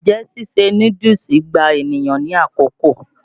Njẹ́ síse núdúùsù gba ènìyàn ní àkókò?